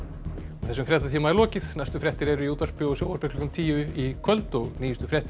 þessum fréttatíma er lokið næstu fréttir eru í útvarpi og sjónvarpi klukkan tíu í kvöld og nýjustu fréttir